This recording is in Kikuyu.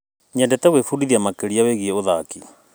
Nyendete gwĩbundithia makĩria wĩgiĩ ũthaki.